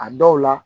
A dɔw la